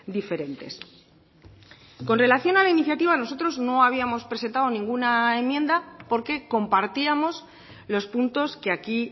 diferentes con relación a la iniciativa nosotros no habíamos presentado ninguna enmienda porque compartíamos los puntos que aquí